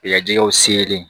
Yajaw sere